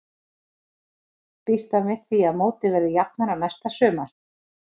Býst hann við því að mótið verði jafnara næsta sumar?